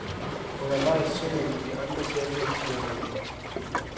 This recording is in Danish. Undervejs synger vi de andre salmer, de har valgt.